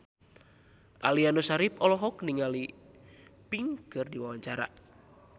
Aliando Syarif olohok ningali Pink keur diwawancara